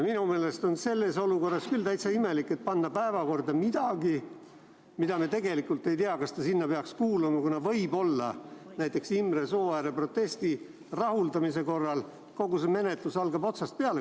Minu meelest on selles olukorras küll täitsa imelik panna päevakorda midagi, mida me tegelikult ei tea, kas ta sinna peaks kuuluma, kuna võib-olla näiteks Imre Sooääre protesti rahuldamise korral hakkab kogu menetlus komisjonis otsast peale.